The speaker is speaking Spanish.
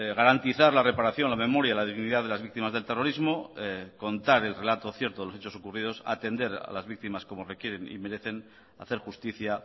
garantizar la reparación la memoria la dignidad de las víctimas del terrorismo contar el relato cierto de los hechos ocurridos atender a las víctimas como requieren y merecen hacer justicia